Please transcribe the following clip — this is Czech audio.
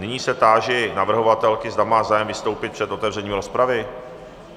Nyní se táži navrhovatelky, zda má zájem vystoupit před otevřením rozpravy.